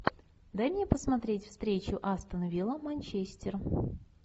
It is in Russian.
дай мне посмотреть встречу астон вилла манчестер